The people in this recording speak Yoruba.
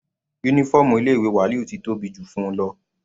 Uniform ilé ìwé Waliyu ti tóbi jù fún-un lọ.